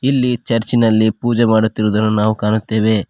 ಇಲ್ಲಿ ಚರ್ಚ್ ನಲ್ಲಿ ಪೂಜೆ ಮಾಡುತ್ತಿರುವದನ್ನು ನಾವು ಕಾಣುತ್ತೆವೆ.